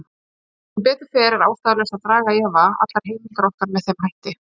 Sem betur fer er ástæðulaust að draga í efa allar heimildir okkar með þeim hætti.